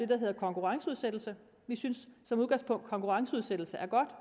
der hedder konkurrenceudsættelse vi synes som udgangspunkt konkurrenceudsættelse er godt